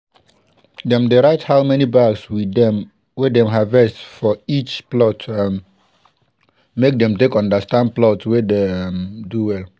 dem dey write how many bags we dem harvest for each plot um make dem take understand plot wey dey um do well.